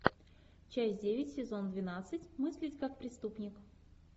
часть девять сезон двенадцать мыслить как преступник